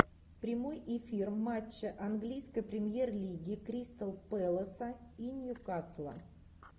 прямой эфир матча английской премьер лиги кристал пэласа и ньюкасла